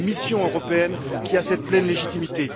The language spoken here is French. C'est une mission européenne qui a cette pleine légitimité.